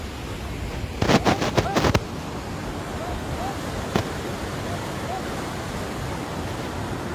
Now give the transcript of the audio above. ọ hazigharịrị usoro mmegharị ahụ ya iji gbochie iku ọkụ n'ụlọ mgbatị ahụ n'ezi.